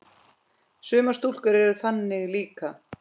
Sumar stúlkur eru þannig líka.